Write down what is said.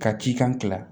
Ka cikan kila